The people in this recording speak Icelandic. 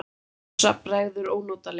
Bjössa bregður ónotalega.